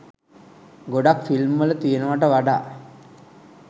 ගොඩක් ෆිල්ම් වල තියෙනවට වඩා